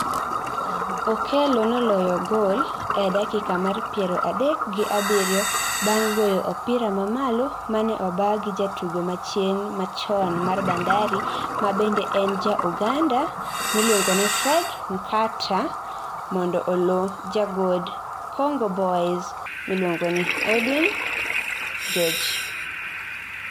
Okello noloyo gol e dakika mar piero adek gi abiriyo bang' goyo opira mamalo ma ne obaa gi jatugo machien machon mar Bandari ma bende en ja Uganda miluongo ni Fred Nkata mondo olo jagod Congo Boys miluongo ni Edwin George.